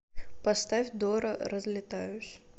поставь дора разлетаюсь